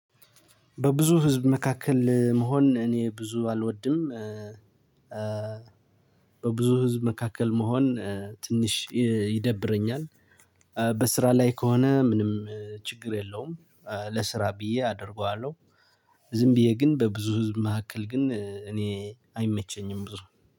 በብዙ ህዝብ መካከል መሆን እኔ ብዙ አልወድም። በብዙ ህዝብ መካከል መሆን ትንሽ ይደብረኛል። በስራ ላይ ከሆነ ምንም ችግር የለውም። ለስራ ብዬ አደርገዋለሁ። ዝም ብዬ ግን በብዙ ህዝብ መካከል ግን እኔ አይመቸኝም ብዙ።